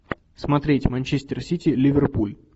смотреть манчестер сити ливерпуль